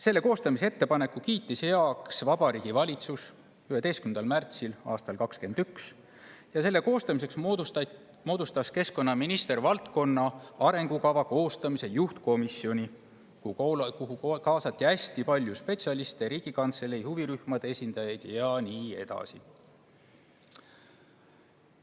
Selle koostamise ettepaneku kiitis heaks Vabariigi Valitsus 11. märtsil aastal 2021 ja selle koostamiseks moodustas toonane keskkonnaminister valdkonna arengukava koostamise juhtkomisjoni, kuhu kaasati hästi palju spetsialiste, Riigikantselei, huvirühmade esindajaid ja nii edasi.